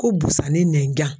Ko busani nɛjan.